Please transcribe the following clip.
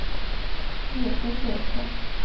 Göte Sjöström